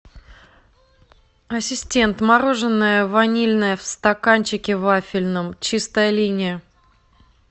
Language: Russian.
ассистент мороженое ванильное в стаканчике вафельном чистая линия